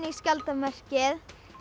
skjaldarmerkið